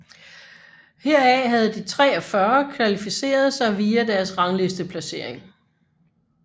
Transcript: Heraf havde de 43 kvalificeret sig via deres ranglisteplacering